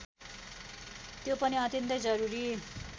त्यो पनि अत्यन्तै जरूरी